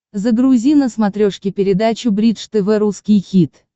загрузи на смотрешке передачу бридж тв русский хит